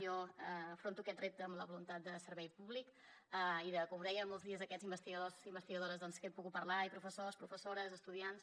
jo afronto aquest repte amb la voluntat de servei públic i com deia molts dies a aquests investigadors i investigadores amb qui he pogut parlar i professors professores estudiants